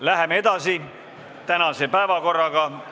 Läheme edasi tänase päevakorraga.